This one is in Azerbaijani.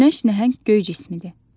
Günəş nəhəng göy cismidir.